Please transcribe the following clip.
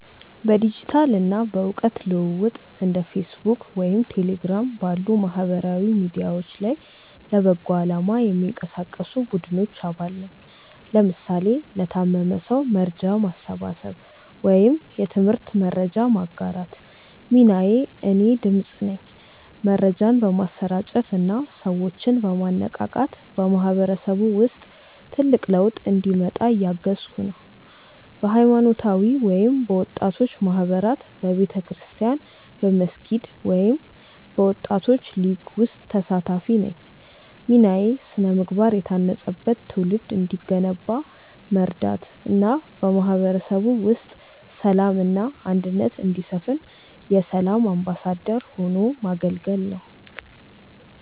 በዲጂታል እና በእውቀት ልውውጥ እንደ ፌስቡክ ወይም ቴሌግራም ባሉ ማህበራዊ ሚዲያዎች ላይ ለበጎ አላማ የሚንቀሳቀሱ ቡድኖች አባል ነኝ (ለምሳሌ ለታመመ ሰው መርጃ ማሰባሰብ ወይም የትምህርት መረጃ ማጋራት) ሚናዬ እኔ "ድምፅ" ነኝ። መረጃን በማሰራጨት እና ሰዎችን በማነቃቃት በማህበረሰቡ ውስጥ ትልቅ ለውጥ እንዲመጣ እያገዝኩ ነው። በሃይማኖታዊ ወይም በወጣቶች ማህበራት በቤተክርስቲያን፣ በመስጊድ ወይም በወጣቶች ሊግ ውስጥ ተሳታፊ ነኝ ሚናዬ ስነ-ምግባር የታነጸበት ትውልድ እንዲገነባ መርዳት እና በማህበረሰቡ ውስጥ ሰላም እና አንድነት እንዲሰፍን የ"ሰላም አምባሳደር" ሆኖ ማገልገል ነው